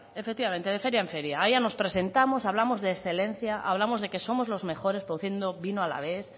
efectivamente de feria en feria allá nos presentamos hablamos de excelencia hablamos de que somos los mejores produciendo vino alavés